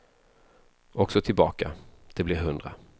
Och så tillbaka, det blir hundra.